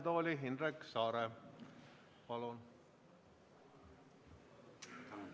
Palun!